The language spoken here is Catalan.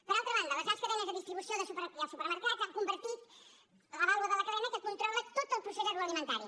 per altra banda les grans cadenes de distribució i els supermercats s’han convertit en la baula de la cadena que controla tot el procés agroalimentari